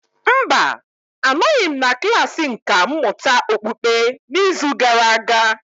Mba, anọghị m na klasị nkà mmụta okpukpe n'izu gara aga.